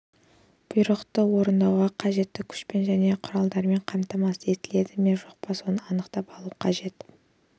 бұйрықты орындауға қажетті күшпен және құралдармен қамтамасыз етілді ме жоқ па соны анықтап алу қажет